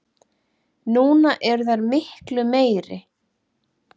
Núna eru þær miklu meiri.